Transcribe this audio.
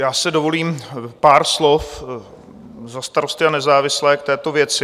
Já si dovolím pár slov za Starosty a nezávislé k této věci.